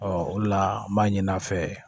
o de la n b'a ɲini a fɛ